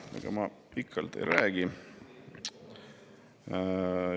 Ega ma pikalt ei räägi.